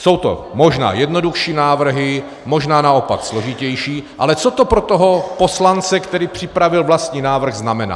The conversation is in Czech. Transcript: Jsou to možná jednodušší návrhy, možná naopak složitější, ale co to pro toho poslance, který připravil vlastní návrh, znamená?